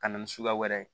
Ka na ni suguya wɛrɛ ye